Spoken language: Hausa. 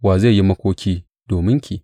Wa zai yi makoki dominki?